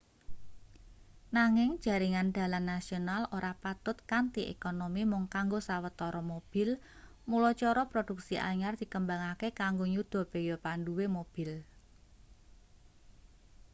nanging jaringan dalan nasional ora patut kanthi ekonomi mung kanggo sawetara mobil mula cara produksi anyar dikembangake kanggo nyuda beya panduwe mobil